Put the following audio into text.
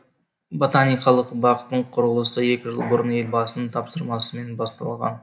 ботаниқалық бақтың құрылысы екі жыл бұрын елбасының тапсырмасымен басталған